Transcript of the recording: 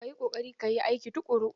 Ka yi ƙoƙari ka yi aiki tuƙuru!